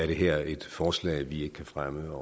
det her et forslag vi ikke kan fremme